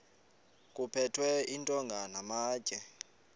kuphethwe iintonga namatye